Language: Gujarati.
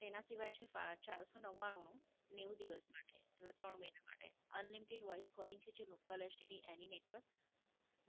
તેના સિવાય સીફ આ ચારસો નવ્વાણું નું નેવું દિવસ માટે. એટલે ત્રણ મહિના માટે. Unlimited voice calling છે જે Local STD any network.